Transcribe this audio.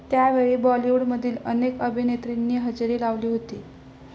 त्यावेळी बॉलिवूडमधील अनेक अभिनेत्रींनी हजेरी लावली होती.